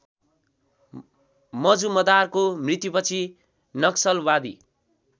मजुमदारको मृत्युपछि नक्सलवादी